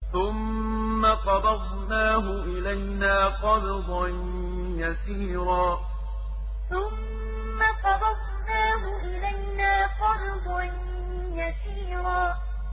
ثُمَّ قَبَضْنَاهُ إِلَيْنَا قَبْضًا يَسِيرًا ثُمَّ قَبَضْنَاهُ إِلَيْنَا قَبْضًا يَسِيرًا